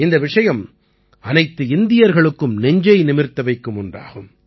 இந்த விஷயம் அனைத்து இந்தியர்களுக்கும் நெஞ்சை நிமிர்த்த வைக்கும் ஒன்றாகும்